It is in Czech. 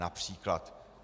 Například.